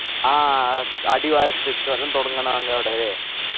ആ അടിവാരത്ത് ചുരം തുടങ്ങ്‌ണ അങ്ങവിടെ